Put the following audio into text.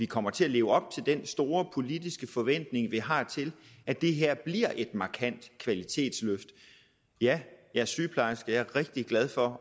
kommer til at leve op til den store politiske forventning vi har til at det her bliver et markant kvalitetsløft ja jeg er sygeplejerske og jeg er rigtig glad for